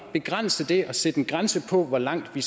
at begrænse det og sætte en grænse for hvor langt vi